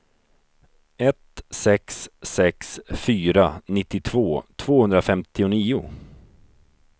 ett sex sex fyra nittiotvå tvåhundrafemtionio